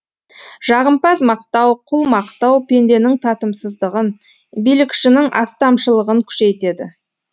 жағымпаз мақтау құл мақтау пенденің татымсыздығын билікшінің астамшылығын күшейтеді